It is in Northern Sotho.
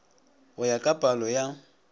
go ya ka palo ya